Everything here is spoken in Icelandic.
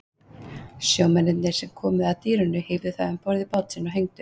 Sjómennirnir sem komu að dýrinu hífðu það um borð í bát sinn og hengdu.